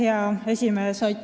Hea esimees!